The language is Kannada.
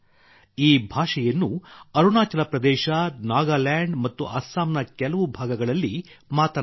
ಈ ಭಾಷೆಯನ್ನು ಅರುಣಾಚಲ ಪ್ರದೇಶ ನಾಗಾಲ್ಯಾಂಡ್ ಮತ್ತು ಅಸ್ಸಾಂನ ಕೆಲವು ಭಾಗಗಳಲ್ಲಿ ಮಾತನಾಡುತ್ತಾರೆ